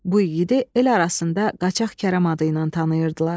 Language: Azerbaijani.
Bu igidi el arasında Qaçaq Kərəm adı ilə tanıyırdılar.